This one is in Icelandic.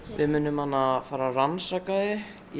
við munum fara að rannsaka þau